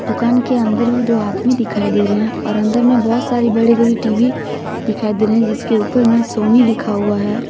दुकान के अंदर भी दो आदमी दिखाई दे रहे हैं और अंदर में बहुत सारे बड़े बड़े टी_वी दिखाई दे रहे है जिसके ऊपर में सोनी लिखा हुआ है।